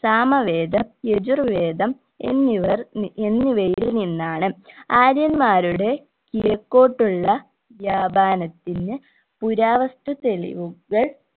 സാമവേദം യജുർവേദം എന്നിവർ നി എന്നിവയിൽ നിന്നാണ് ആര്യന്മാരുടെ കിഴക്കോട്ടുള്ള വ്യാപനത്തിന് പുരാവസ്തു തെളിവുകൾ